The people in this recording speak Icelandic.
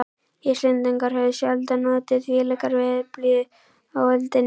Íslendingar höfðu sjaldan notið þvílíkrar veðurblíðu á öldinni.